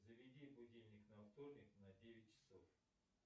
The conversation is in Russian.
заведи будильник на вторник на девять часов